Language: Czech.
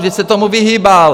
Vždyť se tomu vyhýbal!